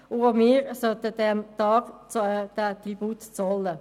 Auch wir sollten dem Tag diesen Tribut zollen.